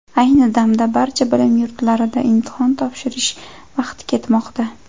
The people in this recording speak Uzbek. Ayni damda, barcha bilim yurtlarida imtihon topshirish vaqti ketmoqda.